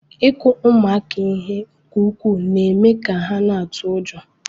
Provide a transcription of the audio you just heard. Ịkụ ụmụaka ihe nke ukwuu na-eme ka ha na-atụ ụjọ.